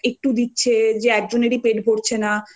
পরিমানে মানে এরকম না যে একটু দিচ্ছে যে যে একজনেরই